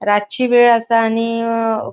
रातची वेळ आसा आणि अ --